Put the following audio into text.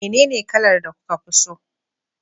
menene kalar da kuka fi so?